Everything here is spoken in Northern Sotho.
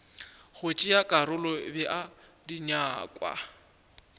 go tšea karolo bea dinyakwa